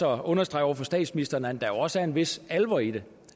at understrege over for statsministeren at der også er en vis alvor i det